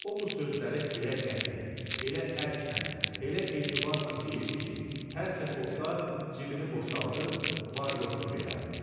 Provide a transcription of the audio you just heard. O bu sözləri elə qəti, elə ərklə, elə etibarən deyirdi ki, hər kəs olsa, cibini boşaldıb var-yoxunu verərdi.